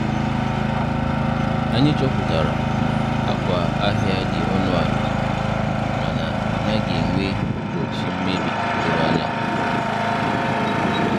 Anyị chọpụtara na akwa ahịa dị ọnụ ala mana ọ naghị enwe ụbọchị mmebi doro anya.